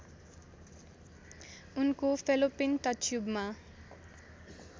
उनको फेलोपिन टच्युबमा